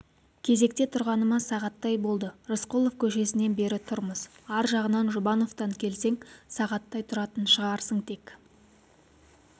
кезекте тұрғаныма сағаттай болды рысқұлов көшесінен бері тұрмыз ар жағынан жұбановтан келсең сағаттай тұратын шығарсың тек